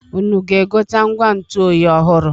Unu ga-egote ngwa ntụ oyi ọhụrụ?